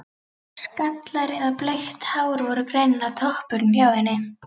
Skallar eða bleikt hár voru greinilega toppurinn hjá henni.